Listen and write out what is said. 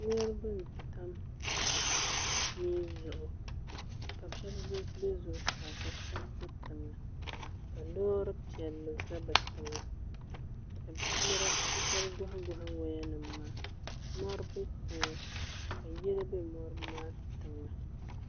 Niriba n tam mii zuɣu ka shɛba bɛ zuɣusaa ka shɛba bɛ tiŋa ka loori piɛlli za bi tooni ka bi shɛba gɔhi gɔhi waya nima maa mori bɛ tiŋa ka yili bɛ loori maa tiŋa.